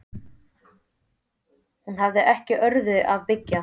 Hún hafði ekki á öðru að byggja.